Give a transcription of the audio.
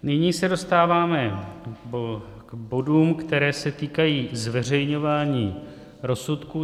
Nyní se dostáváme k bodům, které se týkají zveřejňování rozsudků.